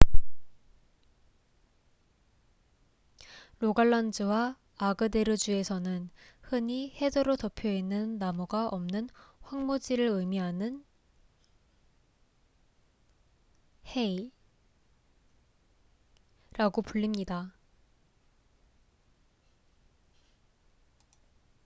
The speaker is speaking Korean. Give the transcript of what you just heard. "로갈란주와 아그데르주에서는 흔히 헤더로 덮여 있는 나무가 없는 황무지를 의미하는 "hei""라고 불립니다.